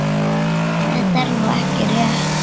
Þetta er nú ekki rétt.